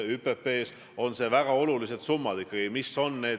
See kõik on õige ja tervitatav, nii peabki ühes demokraatlikus ühiskonnas olema.